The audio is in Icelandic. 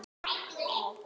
Hún sá ekkert.